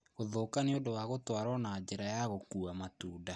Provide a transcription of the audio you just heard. Kũthũka nĩ ũndũ wa gũtwarwo na njĩra ya gũkuua matunda.